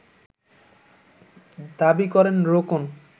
দাবি করেন রোকন